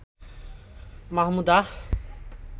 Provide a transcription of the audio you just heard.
Mahmuda